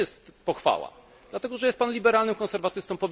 To nie jest pochwała, dlatego, że jest Pan liberalnym konserwatystą.